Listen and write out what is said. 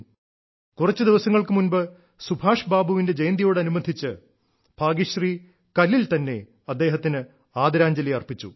കുറച്ചു ദിവസങ്ങൾക്കു മുൻപ് സുഭാഷ് ബാബുവിന്റെ ജയന്തിയോടനുബന്ധിച്ച് ഭാഗ്യശ്രീ കല്ലിൽ തന്നെ അദ്ദേഹത്തിന് ആദരാഞ്ജലി അർപ്പിച്ചു